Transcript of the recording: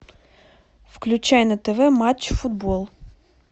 включай на тв матч футбол